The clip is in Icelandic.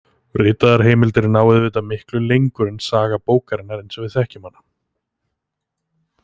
Ritaðar heimildir ná auðvitað miklu lengur en saga bókarinnar eins og við þekkjum hana.